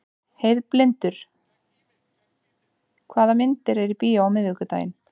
Heiðlindur, hvaða myndir eru í bíó á miðvikudaginn?